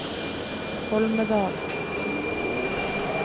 Holmedal